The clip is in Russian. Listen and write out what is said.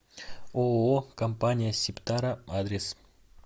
ооо компания сибтара адрес